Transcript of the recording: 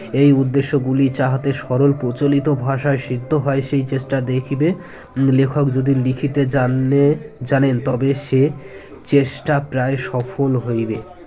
এই উদ্দেশ্যগুলি যাহাতে সরল প্রচলিত ভাষায় সিদ্ধ হয় সেই চেষ্ঠা দেখবে লেখক যদি লিখিতে জানলে জানেন তবে সে চেষ্টা প্রায় সফল হইবে